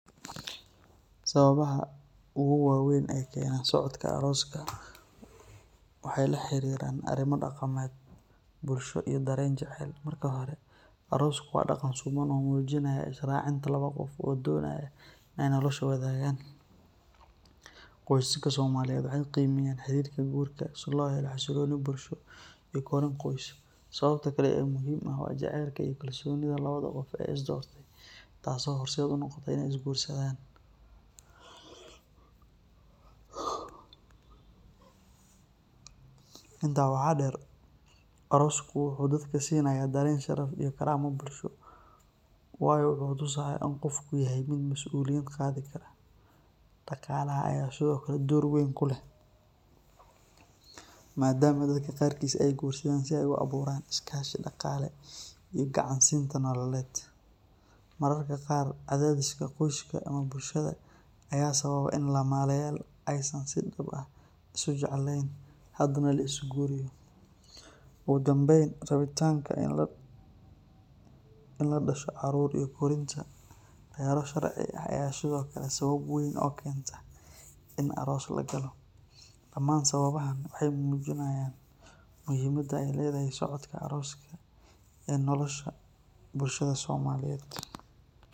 Sababaha ogu waweyn ee keena socodka arooska waxaa keena daqanka, qoysaska somaliyeed waxeey qimeyan arooska, inta waxaa deer arooska wuxuu dadka siinaya Sharaf, daqaalaha ayaa sido kale qeeb keen kuleh, ugu danbeyn rabitanka inaay dashaan caruur ayaa sabab u eh in lagalo arooska, damaan sababahan waxeey mujinaayan waxa keeno arooska.